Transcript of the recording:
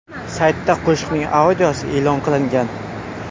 Saytda qo‘shiqning audiosi e’lon qilingan.